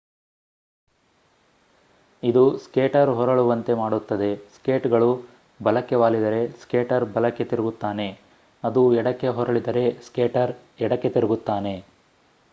ಇದು ಸ್ಕೇಟರ್‌ ಹೊರಳುವಂತೆ ಮಾಡುತ್ತದೆ. ಸ್ಕೇಟ್‌ಗಳು ಬಲಕ್ಕೆ ವಾಲಿದರೆ ಸ್ಕೇಟರ್ ಬಲಕ್ಕೆ ತಿರುಗುತ್ತಾನೆ ಅದು ಎಡಕ್ಕೆ ಹೊರಳಿದರೆ ಸ್ಕೇಟರ್ ಎಡಕ್ಕೆ ತಿರುಗುತ್ತಾನೆ